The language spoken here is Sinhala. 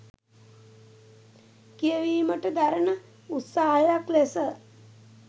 කියවීමට දරණ උත්සාහයක් ලෙස